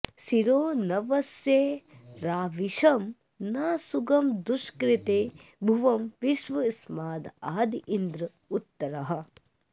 शिरो न्वस्य राविषं न सुगं दुष्कृते भुवं विश्वस्मादिन्द्र उत्तरः